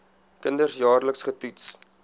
kinders jaarliks getoets